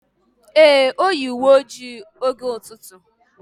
Ee, Oyi uwe ojii oge ututu.